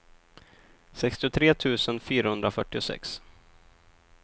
sextiotre tusen fyrahundrafyrtiosex